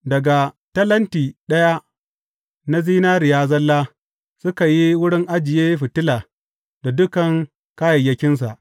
Daga talenti ɗaya na zinariya zalla suka yi wurin ajiye fitila da dukan kayayyakinsa.